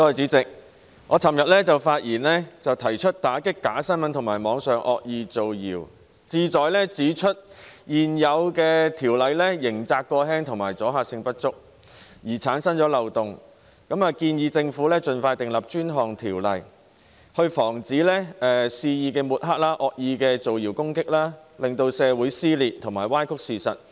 主席，我在昨天發言時提到要打擊假新聞及網上惡意造謠，目的是指出現有條例刑責過輕及阻嚇性不足，因而產生漏洞，並建議政府盡快制定專項條例，防止肆意抹黑及惡意造謠攻擊，令社會撕裂及歪曲事實。